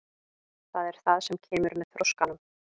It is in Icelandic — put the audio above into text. Það er það sem kemur með þroskanum.